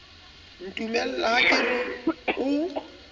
ntumella ha ke re o